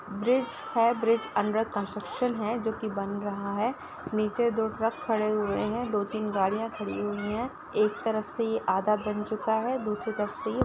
Bridge है bridge under construction है जो कि बन रहा है नीचे दो ट्रक खड़े हुए हैं दो तीन गाड़ियाँ खड़ी हुई हैं। एक तरफ से ये आधा बन चुका है दूसरी तरफ से ये--